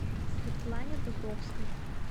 светлане дубровской